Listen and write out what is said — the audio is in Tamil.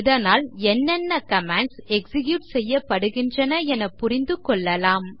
இதனால் என்னென்ன கமாண்ட்ஸ் எக்ஸிக்யூட் செய்யப்படுகின்றன என புரிந்து கொள்ளலாம்